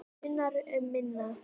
Munar um minna.